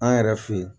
An yɛrɛ fɛ yen